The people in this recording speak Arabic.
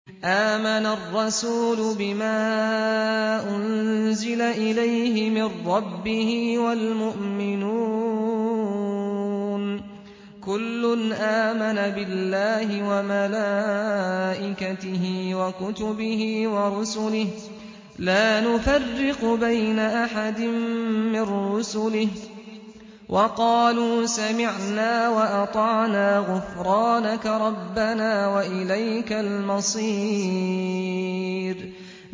آمَنَ الرَّسُولُ بِمَا أُنزِلَ إِلَيْهِ مِن رَّبِّهِ وَالْمُؤْمِنُونَ ۚ كُلٌّ آمَنَ بِاللَّهِ وَمَلَائِكَتِهِ وَكُتُبِهِ وَرُسُلِهِ لَا نُفَرِّقُ بَيْنَ أَحَدٍ مِّن رُّسُلِهِ ۚ وَقَالُوا سَمِعْنَا وَأَطَعْنَا ۖ غُفْرَانَكَ رَبَّنَا وَإِلَيْكَ الْمَصِيرُ